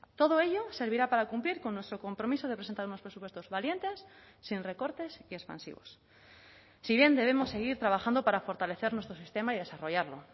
todo ello servirá para cumplir con nuestro compromiso de presentar unos presupuestos valientes sin recortes y expansivos si bien debemos seguir trabajando para fortalecer nuestro sistema y desarrollarlo